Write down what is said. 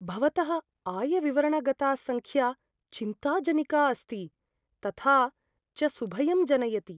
भवतः आयविवरणगता सङ्ख्या चिन्ताजनिका अस्ति, तथा च सुभयं जनयति।